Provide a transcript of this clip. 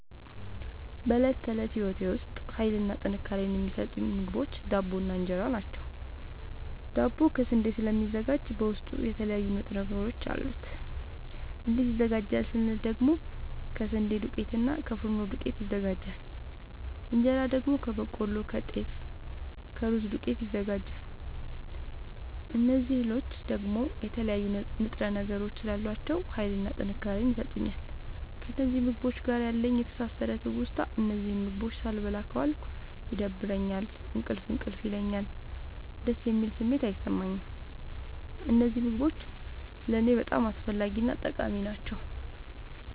በእለት ተለት ህይወቴ ዉስጥ ሀይልንና ጥንካሬን የሚሠጡኝ ምግቦች ዳቦ እና እን ራ ናቸዉ። ዳቦ ከስንዴ ስለሚዘጋጂ በዉስጡ የተለያዩ ንጥረ ነገሮች አሉት። እንዴት ይዘጋጃል ስንል ደግሞ ከስንዴ ዱቄትና እና ከፊኖ ዱቄት ይዘጋጃል። እንጀራ ደግሞ ከበቆሎ ከጤፍ ከሩዝ ዱቄት ይዘጋጃል። እዚህ እህሎይ ደግሞ የተለያዩ ንጥረ ነገሮች ስላሏቸዉ ሀይልንና ጥንካሬን ይሠጡኛል። ከእነዚህ ምግቦች ጋር ያለኝ የተሣሠረ ትዉስታ እነዚህን ምግቦች ሣልበላ ከዋልኩ ይደብረኛል እንቅልፍ እንቅልፍ ይለኛል። ደስ የሚል ስሜት አይሠማኝም። እነዚህ ምግቦች ለኔ በጣም አስፈላጊናጠቃሚ ናቸዉ።